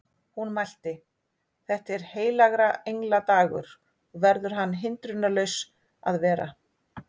Hún mælti: Þetta er heilagra engla dagur og verður hann hindrunarlaus að vera